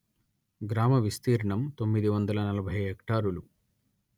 గ్రామ విస్తీర్ణం తొమ్మిది వందల నలభై హెక్టారులు